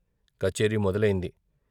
కచేరీ మొదలయింది.